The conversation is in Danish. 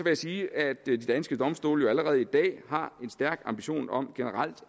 jeg sige at de danske domstole jo allerede i dag har en stærk ambition om generelt